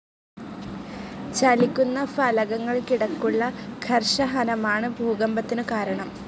ചലിക്കുന്ന ഫലകങ്ങൾക്കിടക്കുള്ള ഘർഷഹനമാണ് ഭൂകമ്പത്തിനു കാരണം.